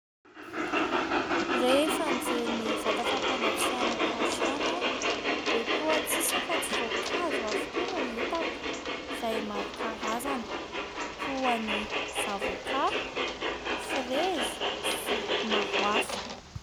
Rehefa nijery ny vata fapangatsiahana tao antrano aho dia toa tsisy afa-tsy voankazo avokoa no hitako ; izay maro karazana toa ny : zavoka, firezy sy maro hafa.